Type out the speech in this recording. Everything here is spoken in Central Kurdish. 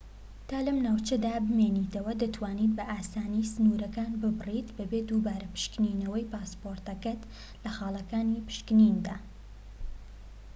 تا لەم ناوچەیەدا بمێنیتەوە دەتوانیت بە ئاسانی سنورەکان ببڕیت بەبێ دووبارە پشکنینەوەی پاسپۆرتەکەت لە خالەکانی پشکنیندا